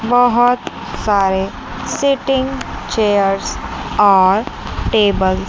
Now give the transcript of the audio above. बहुत सारी seating chair और टेबल --